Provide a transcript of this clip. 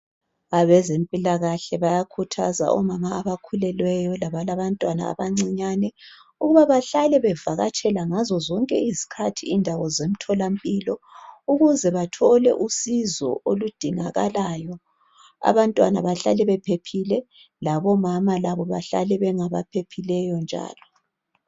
Abazempilakahle bayakhuthaza omama abakhulelweyo labalabantwana abancinyane ukuba bahlale bevakatshela ngazozonke izikhathi indawo zemthola mpilo ukuze bathole usizo oludingakalayo abantwana bahlale bephephile labomama labo bahlale bengabaphilileyo njalo.